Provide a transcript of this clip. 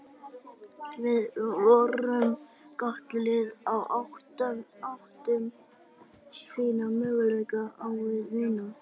Við vorum gott lið og áttum fína möguleika á að vinna.